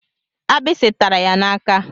Agbisi tara ya n'aka.